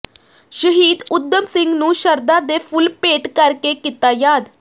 ਸ਼ਹੀਦ ਊਧਮ ਸਿੰਘ ਨੂੰ ਸ਼ਰਧਾ ਦੇ ਫੁੱਲ ਭੇਟ ਕਰਕੇ ਕੀਤਾ ਯਾਦ